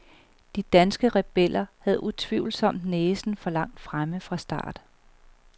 De danske rebeller havde utvivlsomt næsen for langt fremme fra start.